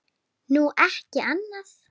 Nú, ekki annað.